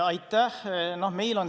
Aitäh!